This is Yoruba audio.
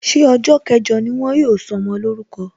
Ṣé ọjọ kẹjọ ni wọn ó sọmọ lórúko?